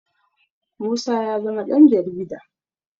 musa ya zama Dan jarida